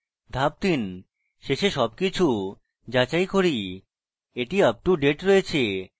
ধাপ 3: শেষে সবকিছু যাচাই করি এটি আপ টু ডেট রয়েছে